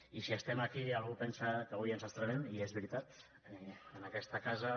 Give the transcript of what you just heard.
i si estem aquí i algú pensa que avui ens estrenem i és veritat en aquesta casa